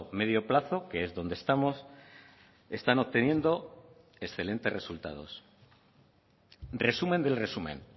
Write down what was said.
medio plazo que es donde estamos están obteniendo excelentes resultados resumen del resumen